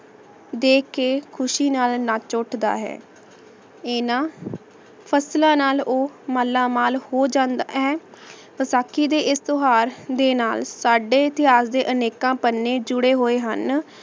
ਦੇਖ ਕੇ ਖੁਸ਼ੀ ਨਾਲ ਨਾਚ ਉਠਦਾ ਹੈ ਆਯ ਨਾ ਫਸਲਾਂ ਨਾਲ ਊ ਮਾਲਾ ਮਾਲ ਹੋ ਜਾਂਦਾ ਹੈ ਵਸਾਖੀ ਦੇ ਏਸ ਤੁਹਾਰ ਦੇ ਨਾਲ ਸਾਡੇ ਇਤਿਹਾਸ ਦੇ ਅਨ੍ਕੇਆਂ ਪੰਨੇ ਜੂਰੀ ਹੋਆਯ ਹਨ